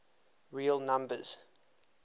real numbers